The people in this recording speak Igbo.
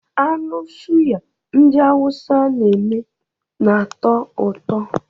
Anụ suya ndị awụsa na-eme na-atọ ụtọ